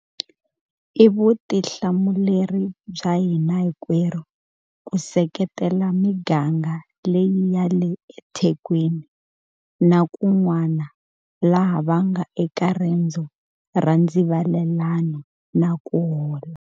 I vutihlamuleri bya hina hinkwerhu ku seketela miganga leyi ya le eThekwini na kun'wana laha va nga eka rendzo ra ndzivalelano na ku hola.